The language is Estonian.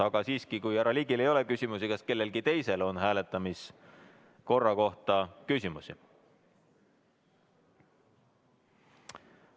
Aga siiski, kui härra Ligil ei ole küsimusi, kas kellelgi teisel on hääletamiskorra kohta küsimusi?